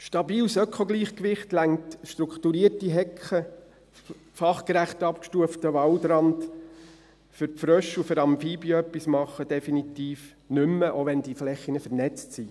Stabiles Ökogleichgewicht, strukturierte Hecke, fachgerecht abgestufter Waldrand, für die Frösche und Amphibien etwas tun – das reicht definitiv nicht mehr aus, selbst wenn die Flächen vernetzt sind.